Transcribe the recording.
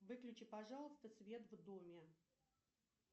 выключи пожалуйста свет в доме